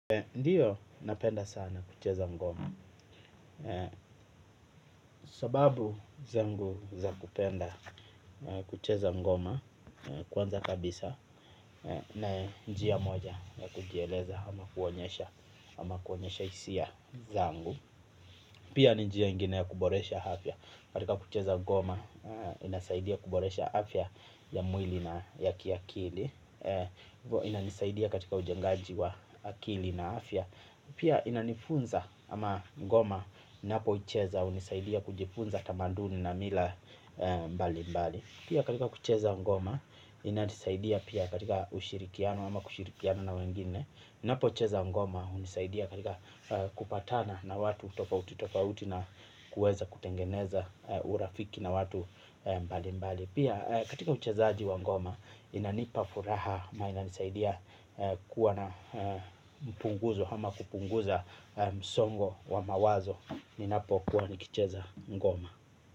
Ndio, napenda sana kucheza ngoma. Sababu zangu za kupenda kucheza ngoma, kwanza kabisa na njia moja ya kujieleza ama kuonyesha hisia zangu. Pia njia ingine ya kuboresha afya katika kucheza ngoma inasaidia kuboresha afya ya mwili na ya kiakili. Inanisaidia katika ujengaji wa akili na afya. Pia inanifunza ama ngoma ninapocheza hunisaidia kujifunza tamanduni na mila mbali mbali. Pia katika kucheza ngoma inanisaidia pia katika ushirikiano ama kushirikiana na wengine. Ninapocheza ngoma hunisaidia katika kupatana na watu tofauti tofauti na kueza kutengeneza urafiki na watu mbali mbali. Pia katika uchezaji wa ngoma inanipa furaha na inanisaidia kuwa na mpunguzo ama kupunguza msongo wa mawazo ninapokuwa nikicheza ngoma.